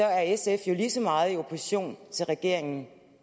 er sf jo lige så meget i opposition til regeringen